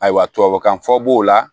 Ayiwa tubabukan fɔ b'o la